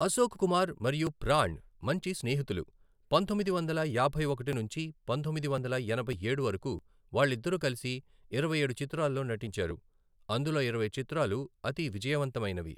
అశోక్ కుమార్ మరియు ప్రాణ్ మంచి స్నేహితులు, పంతొమ్మిది వందల యాభై ఒకటి నుంచి పంతొమ్మిది వందల ఎనభై ఏడు వరకు వాళ్ళు ఇద్దరు కలిసి ఇరవైఏడు చిత్రాల్లో నటించారు, అందులో ఇరవై చిత్రాలు అతి విజయవంతమైనవి.